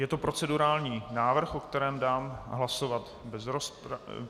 Je to procedurální návrh, o kterém dám hlasovat bez rozpravy.